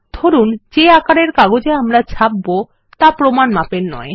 ধরুন যে আকারের কাগজে আমরা এই ছাপব তা প্রমান মাপের না